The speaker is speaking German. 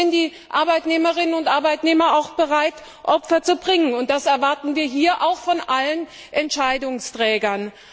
Die Arbeitnehmerinnen und Arbeitnehmer sind auch bereit, dafür Opfer zu bringen, und das erwarten wir hier auch von allen Entscheidungsträgern.